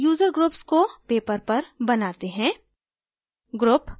पहले user groups को paper पर बनाते हैं